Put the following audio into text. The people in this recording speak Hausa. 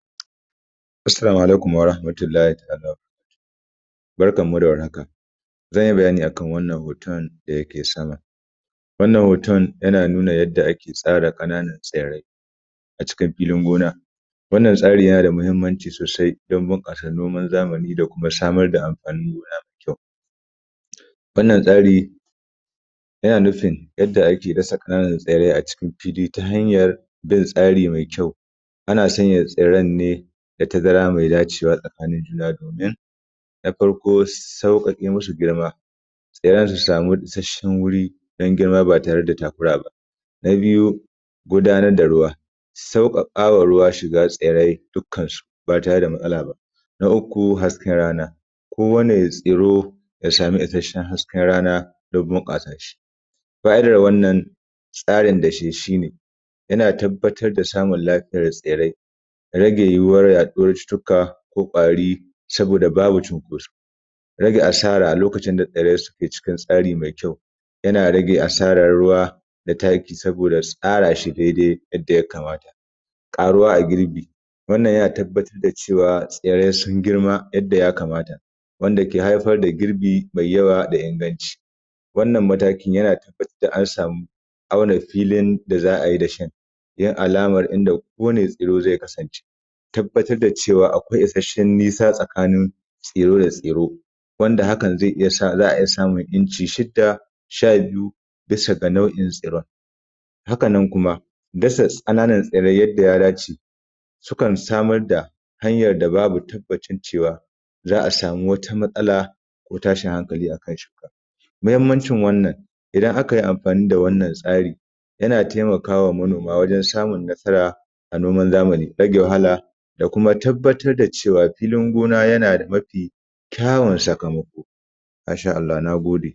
Assalamu alaikum warahamatullahi ta’ala wabarakatuhu. Barkan mu da war haka zan yi bayani a kan wannan hoton da yake sama. Wannan hoton yana nuna yadda ake tsara ƙananun tsirrai a cikin filin gona. Wannan tsari yana da muhimmanci sosai don bunƙasa noman zamani, da kuma samar da amfanin gona mai kyau. Wannan tsari yana nufin yadda ake dasa ƙananan tsarrai a cikin fili, ta hanyan bin tsari mai kyau. Ana sanya tsirrai ne da tazara mai dacewa tsakanin juna domin, na farko sauƙaƙe musu girma. Tsairayan su samu isasshen wuri don girma ba tare da takura ba. Na biyu gudanar da ruwa. Sauƙaƙa wa ruwa shiga tsirrai dukkansu ba tare da matsala ba. Na uku hasken rana. kowane tsiro ya samu ishasshen hasken rana don bunƙasa shi. Baya ga wannan tsarin da shi shine, yana tabbatar da samun lafiyar tsirrai, rage yuwuwar yaɗuwar cututtuka, ko ƙwari saboda babu cinkoso, rage asara lokacin da tsirrai suke cikin tsari mai kyau, yana rage asaran ruwa da taki, saboda tsara shi dai dai yadda ya kamata. Ƙaruwa a girbi wannan yana tabbatar da cewa tsirrai sun girma yadda yakamata wanda ke haifar da girbi mai yawa da inganci. Wannan mataki yana tabbatar da an samu auna filin da za a yi dashin, yin alaman inda kowani tsirro zai kasance. Tabbatar da cewa akwai isasshen nisa tsakanin tsiro da tsiro wanda haka za a iya samun inci shida, sha biyu bisa ga na’uin tsiron. Hakanan kuma dasa ƙananan tsirai yadda ya dace sukan samar da hanyan da babu tabbacin cewa za a samu wata matsala, ko tashin hankali akan shuka. Mahimmancin wannan idan akai amfani da wannan tsari yana taimaka ma manoma wajan samun nasara a noman zamani. Rage wahala, da kuma tabbatar da cewa filin gona yana da mafi kyawun sakamako masha Allahu na gode.